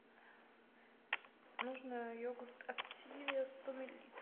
нужно йогурт активия сто миллилитров